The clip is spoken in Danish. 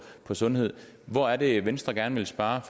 sundhed hvor er det venstre gerne vil spare